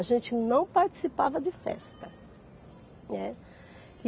A gente não participava de festa, né.